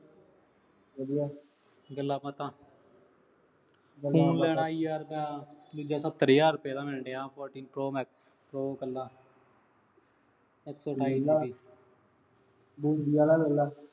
ਵਧੀਆ। ਗੱਲਾਂ ਬਾਤਾਂ। phone ਲੈਣਾ ਯਾਰ, ਦੂਜਾ ਸੱਤਰ ਹਜ਼ਾਰ ਰੁਪਏ ਦਾ ਮਿਲਣ ਡਿਆ Fourteen Pro Max Pro ਕੱਲਾ। ਆਲਾ ਲੈ ਲਾ